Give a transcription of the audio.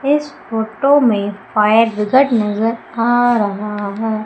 इस फोटो में fire brigade नजर आ रहा है।